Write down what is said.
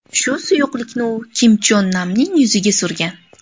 Shu suyuqlikni u Kim Chon Namning yuziga surgan.